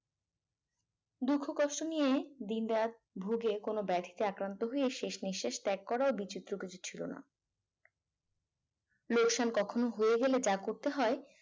দুঃখ কষ্ট নিয়ে দিনরাত ভুগে কোন ব্যাধিতে আক্রান্ত হয়ে শেষ নিঃশ্বাস ত্যাগ করার বিচিত্র কিছু ছিল না লোকসান কখনো হয়ে গেলে যা করতে হয়